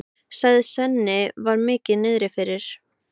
sagði Svenni og var mikið niðri fyrir.